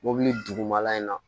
Mobili dugumala in na